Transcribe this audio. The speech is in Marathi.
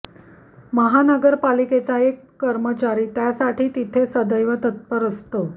महानगरपालिकेचा एक कर्मचारी त्यासाठी तिथे सदैव तत्पर असतो